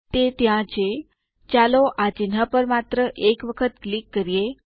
તે ત્યાં છે ચાલો આ ચિહ્ન પર માત્ર એક વખત ક્લિક કરીએ